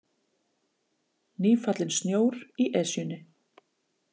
Nýfallinn snjór í Esjunni